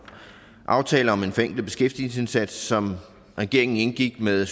aftale om en forenklet beskæftigelsesindsats som regeringen indgik med